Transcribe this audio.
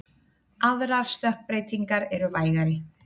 Aðrar stökkbreytingar eru vægari.